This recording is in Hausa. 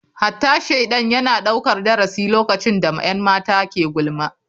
Hatta shaidan yana daukar darasi lokacin da 'yan mata ke gulma.